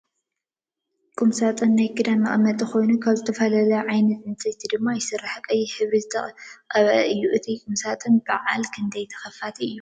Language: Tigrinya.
ቁም ሳጥን ናይ ክዳን መቀመጢ ኮይኑ ካብ ዝተፈላለዩ ዓይነት ዕንፀይቲ ድማ ይስራሕ ።ቀይሕ ሕብሪ ዝተቀበአ እዮ። እቲ ቁምሳጡን ብዓል ክንደይ ተከፋቲ እዩ?